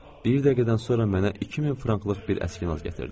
Bir dəqiqədən sonra mənə 2000 franklıq bir əskinas gətirdi.